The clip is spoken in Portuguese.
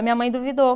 A minha mãe duvidou.